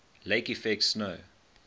lake effect snow